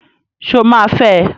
Sọ ma fẹ?